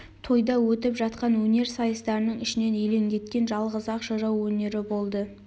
тойда өтіп жатқан өнер сайыстарының ішінен елеңдеткен жалғыз-ақ жырау өнері болды